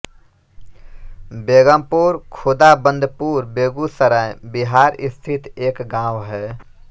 बेगमपुर खुदाबंदपुर बेगूसराय बिहार स्थित एक गाँव है